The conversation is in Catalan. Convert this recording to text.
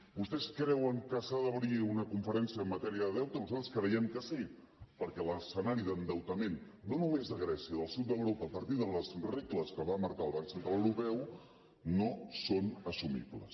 vostès creuen que s’ha d’obrir una conferència en matèria de deute nosaltres creiem que sí perquè l’escenari d’endeutament no només de grècia del sud d’europa a partir de les regles que va marcar el banc central europeu no són assumibles